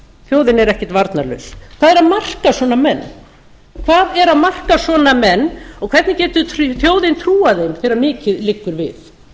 þjóðin er ekkert varnarlaus hvað er að marka svona menn og hvernig getur þjóðin trúað þeim þegar mikið liggur við